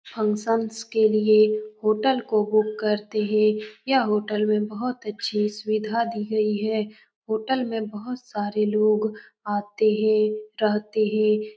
Functions के लिए hotel को बुक करते है यह होटल में बहुत अच्छे सुविधा दी गयी है होटल में बहुत सारे लोग आते है रहते है।